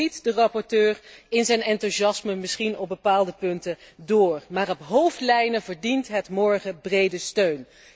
Ook al schiet de rapporteur in zijn enthousiasme misschien op bepaalde punten door, op hoofdlijnen verdient het morgen brede steun.